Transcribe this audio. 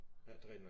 Ja det rigtig nok